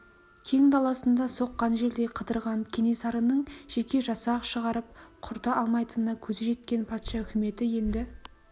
кең даласында соққан желдей қыдырған кенесарыны жеке жасақ шығарып құрта алмайтынына көзі жеткен патша үкіметі енді